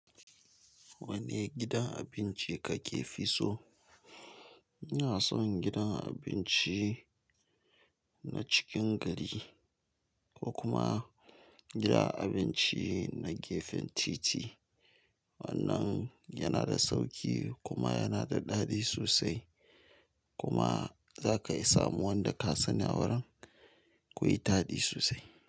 Wane gidan abinci kake fi so? Ina son gidan abinci na cikin gari ko kuma gidan abinci na gefen titi. Wannan yana da sauƙi kuma yana da daɗi sosai. Kuma za ka iya samun wanda ka sani a wurin. Ku yi taɗi sosai.